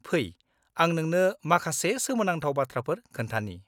-फै, आं नोंनो माखासे सोमोनांथाव बाथ्राफोर खोन्थानि।